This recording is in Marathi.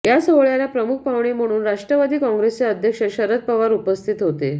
या सोहळ्याला प्रमुख पाहुणे म्हणून राष्ट्रवादी काँग्रेसचे अध्यक्ष शरद पवार उपस्थित होते